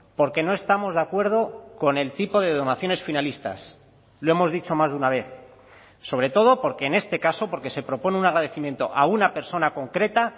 porque no estamos de acuerdo con el tipo de donaciones finalistas lo hemos dicho más de una vez sobre todo porque en este caso porque se propone un agradecimiento a una persona concreta